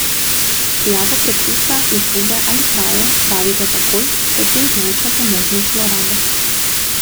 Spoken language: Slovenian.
Prijavo preklica, izgube ali kraje opravite takoj, saj s tem zmanjšate možnost zlorabe.